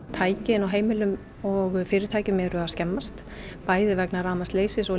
tæki inn á heimilum og fyrirtækjum eru að skemmast bæði vegna rafmagnsleysis og